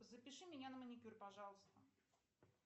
запиши меня на маникюр пожалуйста